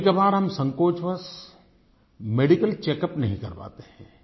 कभी कबार हम संकोचवश मेडिकल चेकअप नहीं करवाते हैं